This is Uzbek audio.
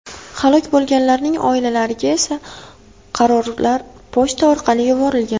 Halok bo‘lganlarning oilalariga esa qarorlar pochta orqali yuborilgan.